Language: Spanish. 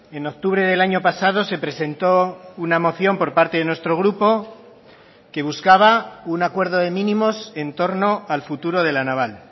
en octubre del año pasado se presentó una moción por parte de nuestro grupo que buscaba un acuerdo de mínimos en torno al futuro de la naval